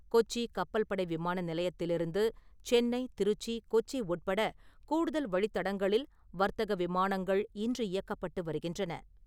கொச்சி கப்பல்படை விமான நிலையத்திலிருந்து சென்னை, திருச்சி, கொச்சி உட்பட கூடுதல் வழித்தடங்களில் வர்த்தக விமானங்கள் இன்று இயக்கப்பட்டு வருகின்றன.